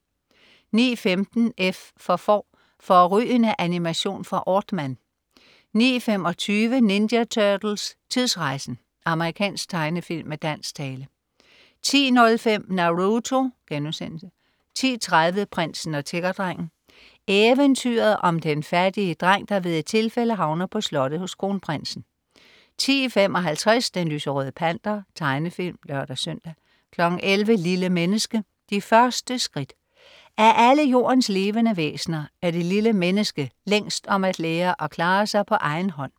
09.15 F for Får. Fårrygende animation fra Aardman 09.25 Ninja Turtles: Tidsrejsen! Amerikansk tegnefilm med dansk tale 10.05 Naruto* 10.30 Prinsen og tiggerdrengen. Eventyret om den fattige dreng, der ved et tilfælde havner på slottet hos kronprinsen 10.55 Den lyserøde Panter. Tegnefilm (lør-søn) 11.00 Lille menneske. De første skridt. Af alle Jordens levende væsener er det lille menneske længst om at lære at klare sig på egen hånd